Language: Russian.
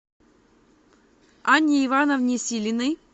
анне ивановне силиной